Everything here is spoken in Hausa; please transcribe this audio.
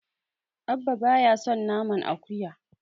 Abba baya son naman akuya.